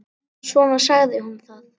Svona sagði hún það.